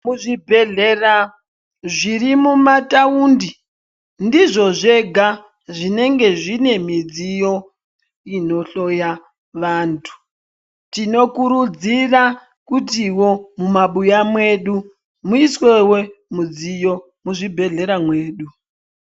Muzvibhedhlera zvirimumataundi ndizvo zvega zvinenge zvine midziyo inohloya vantu, tinokurudzira kutiwo mumabuya mwedu muiswewo midziyo muzvibhedhlera mwedu.